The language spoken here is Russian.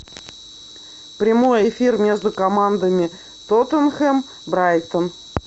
прямой эфир между командами тоттенхэм брайтон